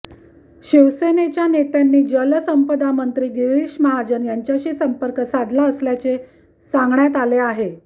शिवसेनेच्या नेत्यांनी जलसंपदामंत्री गिरीश महाजन यांच्याशी संपर्क साधला असल्याचे सांगण्यात आले आहे